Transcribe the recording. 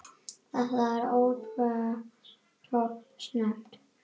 Þetta er alltof snemmt.